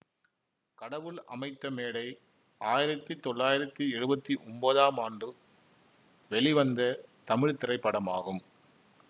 கடவுள் அமைத்த மேடை ஆயிரத்தி தொள்ளாயிரத்தி எழுவத்தி ஒம்போதாம் ஆண்டு வெளிவந்த தமிழ் திரைப்படமாகும்